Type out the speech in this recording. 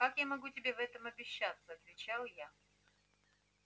как я могу тебе в этом обещаться отвечал я